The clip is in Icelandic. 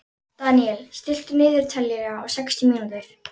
Daniel, stilltu niðurteljara á sextíu mínútur.